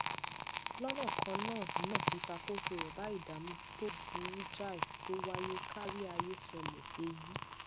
lónà kan náà náà ìṣàkóso rè bá ìdààmú tó burú jáì tó wáyé kárí ayé ṣẹlè èyí